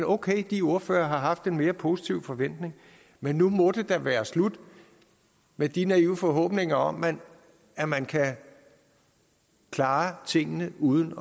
okay de ordførere har haft en mere positiv forventning men nu må det da være slut med de naive forhåbninger om at man kan klare tingene uden